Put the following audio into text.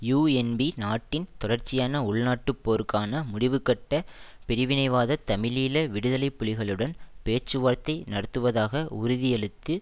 UNP நாட்டின் தொடர்ச்சியான உள்நாட்டுப் போருக்கு முடிவுகட்ட பிரிவினைவாத தமிழீழ விடுதலை புலிகளுடன் பேச்சுவார்த்தை நடத்துவதாக உறுதியளித்து